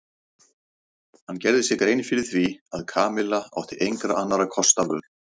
Hann gerði sér grein fyrir því að Kamilla átti engra annarra kosta völ.